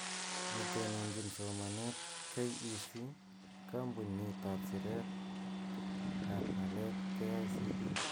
Netononjin somanet KEC, kambunit ab siret ab ng'alek KICD